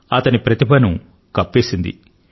అతని ప్రతిభను కప్పేసింది